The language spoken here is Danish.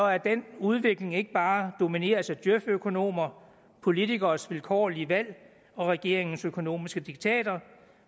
at den udvikling ikke bare domineres af djøf økonomer politikeres vilkårlige valg og regeringens økonomiske diktater